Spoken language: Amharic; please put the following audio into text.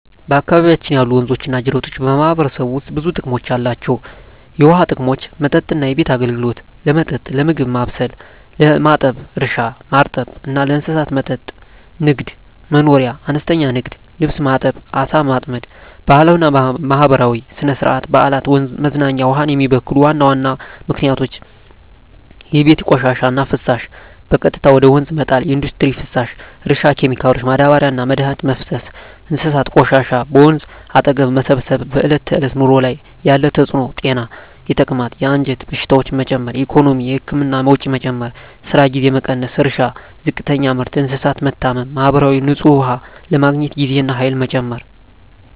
በአካባቢያችን ያሉ ወንዞችና ጅረቶች በማህበረሰቡ ውስጥ ብዙ ጥቅሞች አላቸው፣ የውሃ ጥቅሞች መጠጥና ቤት አገልግሎት – ለመጠጥ፣ ለምግብ ማብሰል፣ ለማጠብ እርሻ – ማርጠብ እና ለእንስሳት መጠጥ ንግድ/መኖርያ – አነስተኛ ንግድ (ልብስ ማጠብ፣ ዓሣ ማጥመድ) ባህላዊና ማህበራዊ – ሥነ-ሥርዓት፣ በዓላት፣ መዝናኛ ውሃን የሚበክሉ ዋና ምክንያቶች የቤት ቆሻሻና ፍሳሽ – በቀጥታ ወደ ወንዝ መጣል ኢንዱስትሪ ፍሳሽ – እርሻ ኬሚካሎች – ማዳበሪያና መድኃኒት መፍሰስ እንስሳት ቆሻሻ – በወንዝ አጠገብ መሰብሰብ በዕለት ተዕለት ኑሮ ላይ ያለ ተጽዕኖ ጤና – የተቅማጥ፣ የአንጀት በሽታዎች መጨመር ኢኮኖሚ – የህክምና ወጪ መጨመር፣ የስራ ጊዜ መቀነስ እርሻ – ዝቅተኛ ምርት፣ እንስሳት መታመም ማህበራዊ – ንጹህ ውሃ ለማግኘት ጊዜና ኃይል መጨመር